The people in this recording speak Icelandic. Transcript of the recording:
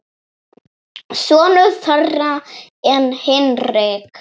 Sonur þeirra er Hinrik.